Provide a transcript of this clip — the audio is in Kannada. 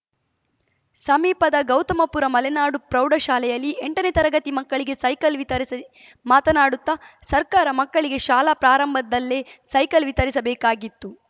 ಸಮೀಪದ ಗೌತಮಪುರ ಮಲೆನಾಡು ಪ್ರೌಢ ಶಾಲೆಯಲ್ಲಿ ಎಂಟನೇ ತರಗತಿ ಮಕ್ಕಳಿಗೆ ಸೈಕಲ್‌ ವಿತರಿಸಿ ಮಾತನಾಡುತ್ತ ಸರ್ಕಾರ ಮಕ್ಕಳಿಗೆ ಶಾಲಾ ಪ್ರಾರಂಭಲ್ಲೇ ಸೈಕಲ್‌ ವಿತರಿಸಬೇಕಾಗಿತ್ತು